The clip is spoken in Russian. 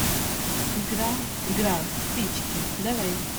игра игра в спички давай